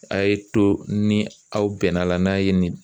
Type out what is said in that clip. A ye to ni aw bɛnna a la n'a ye nin